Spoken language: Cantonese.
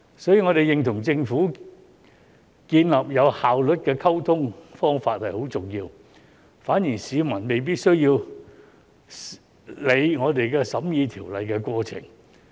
所以，我們認同與政府建立有效率的溝通方法是很重要的，反而市民未必需要理會我們審議條例的過程。